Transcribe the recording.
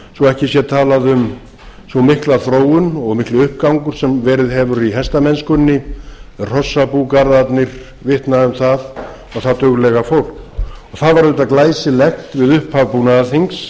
svo ekki sé talað um að sú mikla þróun og mikil uppgangur sem verið hefur í hestamennskunni hrossabúgarðarnir vitna um það og það duglega fólk það var auðvitað glæsilegt við upphaf búnaðarþings